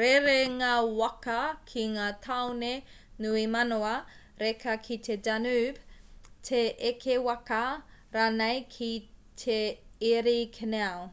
rerenga waka ki ngā tāone nui manawa reka ki te danube te eke waka rānei ki te erie canal